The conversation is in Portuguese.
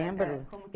Lembro.